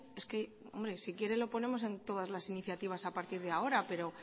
si quiere lo ponemos en todas las iniciativas a partir de ahora pero